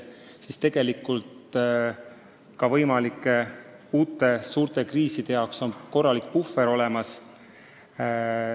Nii et tegelikult on ka võimalike uute suurte kriiside puhuks korralik puhver olemas.